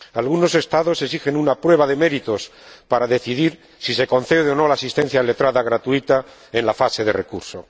Algunos Estados exigen una prueba de méritos para decidir si se concede o no la asistencia letrada gratuita en la fase de recurso.